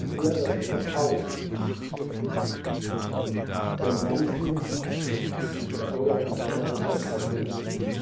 Hier, das ist das Haus der Menschen, der Bürgerinnen und der Bürger unseres Kontinents.